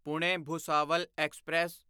Pune Bhusawal express